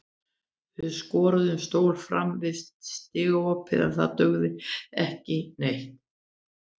Við skorðuðum stól framan við stigaopið en það dugði ekki neitt.